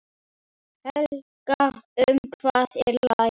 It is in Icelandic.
Helga, um hvað er lagið?